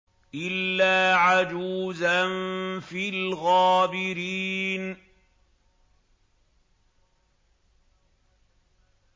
إِلَّا عَجُوزًا فِي الْغَابِرِينَ